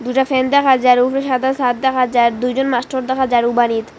দুটা ফ্যান দেখা যার উফরে সাদা ছাদ দেখা যার দুইজন মাস্টর দেখা যার উ বাড়িত।